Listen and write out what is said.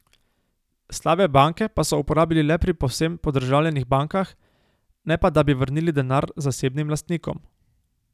Slabe banke pa so uporabili le pri povsem podržavljenih bankah, ne pa da bi vrnili denar zasebnim lastnikom.